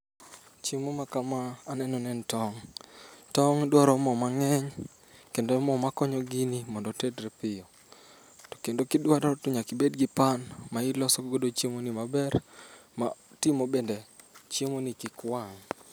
Chiemo ma kama aneno ni en tong'. Tong' dwaro mo mang'eny kendo mo makonyo gini mondo otedre piyo. To kendo kidwaro to nyaka ibed gi pan ma iloso godo chiemoni maber matimo bende chiemoni kik wang'.